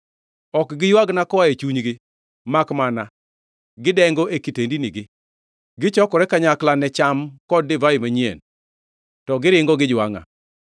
Ok giywagna koa e chunygi makmana gidengo e kitendinigi. Gichokore kanyakla ne cham kod divai manyien to giringo gijwangʼa.